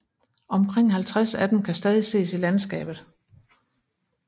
Omkring 50 af dem kan stadig ses i landskabet